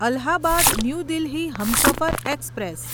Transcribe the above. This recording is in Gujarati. Allahabad new Delhi Humsafar express